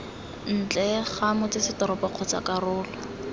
ntle ga motsesetoropo kgotsa karolo